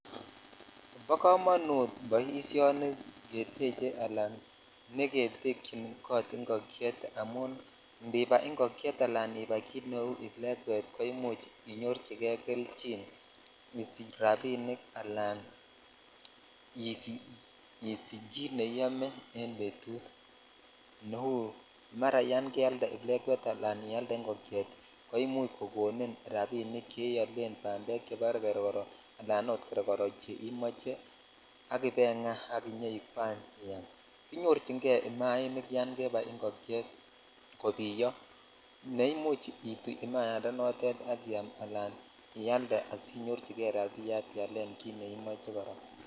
Bo komonut boisioni ni ketche ala niketyin kot ingokyetamun idibai ingokyet ala ibai kit neu iblekwet ko imuch inyorchi kei kelchin isich rabin ala isich kit neiyome en betut ne uu mara yan keyalte blekwet ala ialde ingokyet ko imuch kokoninrabik cheiolen bandek chobo geregoro alan ot geregoro che imoche ak ibaingaa ak inyokwany iam kinyorchin jei imainik yan jebai ingokyet kobiyo ko imuch itoi imayat ak iyam sl ialde asinyorchikei rabiyat asiyalen kit neimoch kira.